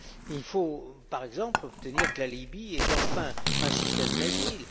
Il faut, par exemple, obtenir que la Libye ait enfin un système d'asile.